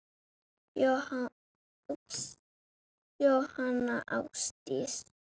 Jóhanna Ásdís.